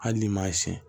Hali n'i m'a siyɛn